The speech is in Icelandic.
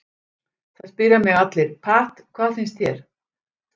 Það spyrja mig allir, Pat, hvað finnst þér?